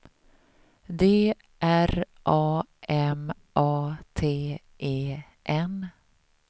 D R A M A T E N